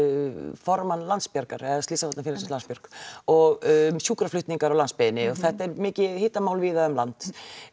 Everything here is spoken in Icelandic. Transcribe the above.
formann Landsbjargar eða slysavarnarfélagsins Landsbjörg og sjúkraflutningar á landsbyggðinni og þetta er mikið hitamál víða um land